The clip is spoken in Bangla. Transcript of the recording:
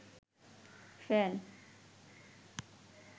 ফ্যান